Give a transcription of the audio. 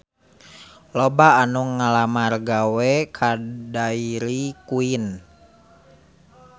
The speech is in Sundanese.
Loba anu ngalamar gawe ka Dairy Queen